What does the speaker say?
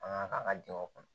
An ka an ka jamana kɔnɔ